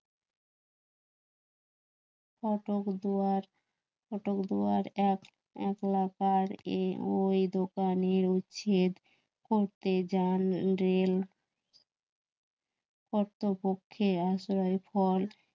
কটক দুয়ার, কটক দুয়ার এক~একলাকার এ ওই দোকানের উচ্ছেদ করতে যান রেল কর্তব্যে ফল